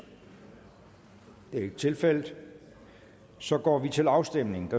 det er ikke tilfældet så går vi til afstemning